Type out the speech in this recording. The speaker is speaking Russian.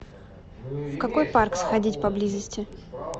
в какой парк сходить поблизости